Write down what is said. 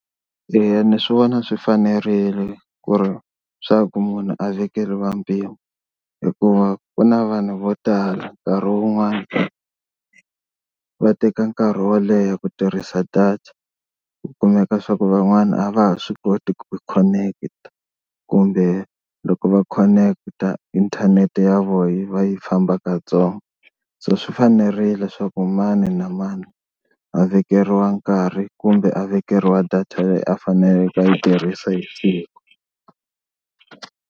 Eya ni swi vona swi fanerile ku ri swa ku munhu a vekeliwa mpimo hikuva ku na vanhu vo tala nkarhi wun'wani va teka nkarhi wo leha ku tirhisa data, ku kumeka swa ku van'wana a va ha swi koti ku khoneketa kumbe loko va khoneketa inthanete ya vona yi va yi famba kantsongo. So swi fanerile swaku mani na mani a vekeriwa nkarhi kumbe a vekeriwa data leyi a faneleke a yi tirhisi hi siku.